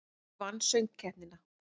Dagur vann Söngkeppnina